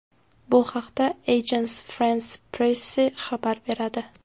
Bu haqda Agence France-Presse xabar beradi.